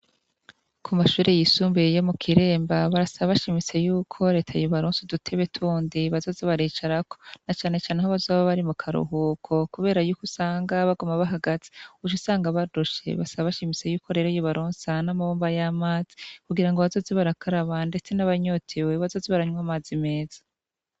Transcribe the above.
Ku mashuri yisumbuye yo mu kiremba, barasaba bashimitse y'uko reta yobaronsa udutebe tundi boza baricarako ,na cane cane aho bazoba bari mu karuhuko ,kubera yuko usanga baguma bahagaze, uc'usanga barushe ,basaba bashimitse y'uko rero yobaronsa n'amabomba y'amazi kugira ngo bazoze barakaraba ndetse n'abanyotewe bazoze baranywa amazi meza.